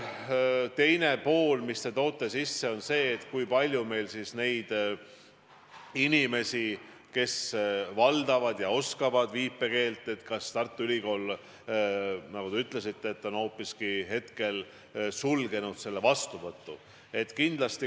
Teine teema, mille te sisse tõite, on see, kui palju meil on inimesi, kes valdavad viipekeelt, ja kas Tartu Ülikool, nagu te ütlesite, on hoopiski selle vastuvõtu sulgenud.